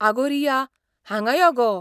अगो रिया, हांगा यो गो.